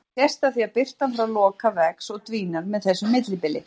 Það sést af því að birtan frá Loka vex og dvínar með þessu millibili.